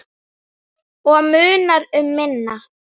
Og munar um minna.